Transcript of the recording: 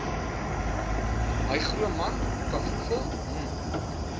hygroman kafoefel m